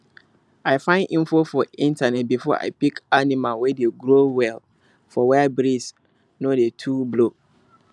i find info for internet before i pick animal wey dey grow well for where breeze no dey too blow